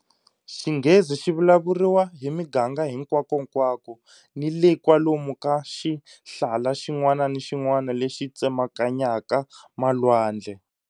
Xinghezi xi vulavuriwa hi miganga hinkwakonkwako ni le kwalomu ka xihlala xin'wana ni xin'wana lexi tsemakanyaka malwandle.